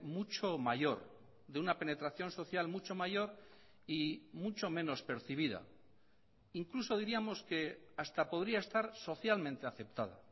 mucho mayor de una penetración social mucho mayor y mucho menos percibida incluso diríamos que hasta podría estar socialmente aceptada